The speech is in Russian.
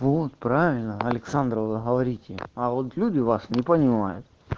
вот правильно александра вы говорите а вот люди вас не понимают